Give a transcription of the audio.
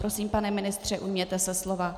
Prosím, pane ministře, ujměte se slova.